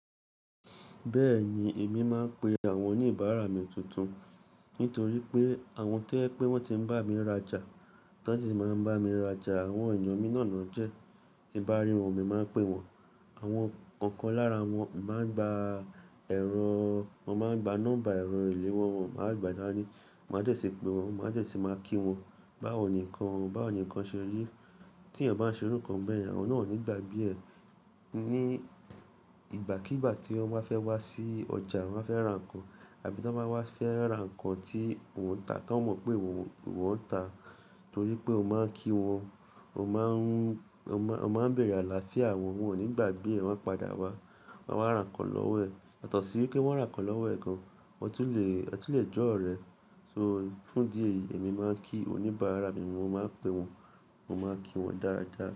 Bẹ́ẹ̀ni, èmi máa ń pe àwọn oníbàárà mi tuntun nítorí pé àwọn tó je pé wọ́n ti ń bá mi rajà, tan sí máa ń bá mi rajà, àwọn ènìyàn mìí nà náà jẹ́, tí ń bá rí wọn, mo máa ń pè wọ́n. Àwọn ọ̀kan lára wọn máa ń gba ẹ̀rọ, wọn máa ń gba nọ́mbà ẹ̀rọ ìléwo wọn, wọn máa gbà dani. Máa dẹ́ ṣì pè wọ́n, máa dẹ́ ṣì máa kí wọn. Báwo ní nkan o?, báwo ní nkan ṣe rí? Tí ẹ̀eyàn bá ń ṣe irú kan bẹ́yẹ̀n, àwọn náà ò ní gbàgbe ẹ. Ni ìgbàkígbà tí wọ́n bá fẹ́ wá sí ọjà, wọ́n fẹ́ ra nǹkan. Abí tí wọ́n bá wá fẹ́ ra nǹkan tí mò ń ta, tan mọ̀ pé ìwọ, ìwọ ń ta torí pé o máa ń kí wọn, o máa ń, o maa n, o máa ń bèèrè àlàáfíà wọn, wọn ò ní gbàgbe ẹ, wọ́n a padà wá, wọ́n a wá ra nǹkan lọ́wọ́ ẹ̀. Yàtó sì pe wọ́n ra nǹkan lọ́wọ́ ẹ̀ gan, won tun lè, eeyan tún lè jọ́ ọ̀rẹ́. Fún idí ẹ̀yi, èmi máa ń kí oníbàárà mi, mo máa ń pè wọ́n, mo máa ń kí wọn dáadáa.